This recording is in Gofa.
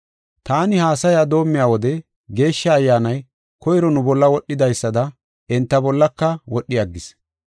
“Taani haasaya doomiya wode Geeshsha Ayyaanay koyro nu bolla wodhidaysada enta bollaka wodhi aggis.